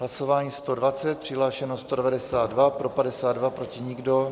Hlasování 120, přihlášeno 192, pro 52, proti nikdo.